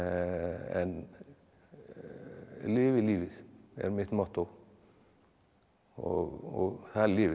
en lifi lífið er mitt mottó og það lifir